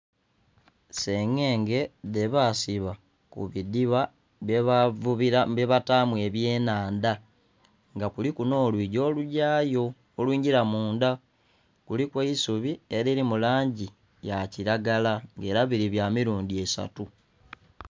Sengenge dhebaasiba ku bidhiba byebataamu ebyenhandha nga kuliku n'olwigi olugyayo olwingira mundha. Kuliku eisubi eliri mu langi ya kiragala nga ela bili bya mirundi esatu.